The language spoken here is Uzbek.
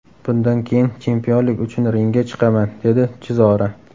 Bundan keyin chempionlik uchun ringga chiqaman” dedi Chizora.